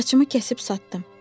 Saçımı kəsib satdım.